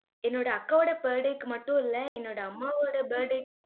என்னோட அக்காவோட birthday க்கு மட்டும் இல்ல, என்னோட அம்மாவோட birthday கும்